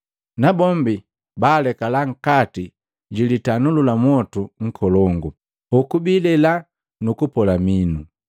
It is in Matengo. Nabombi baalekala nkati jitanuli la mwotu nkolongu, hoku bilela nukupola minu.